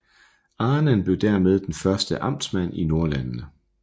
Ahnen blev dermed den første amtmand i Nordlandene